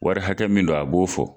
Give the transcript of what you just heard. Wari hakɛ min don, a b'o fɔ